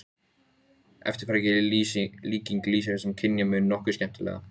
Lýsir það ekki átakanlegri firringu hugans?